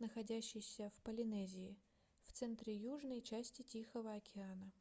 находящейся в полинезии в центре южной части тихого океана